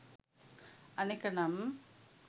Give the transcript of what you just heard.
අනෙක නම්